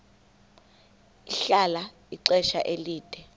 ahlala ixesha elide